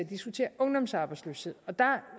diskutere ungdomsarbejdsløshed der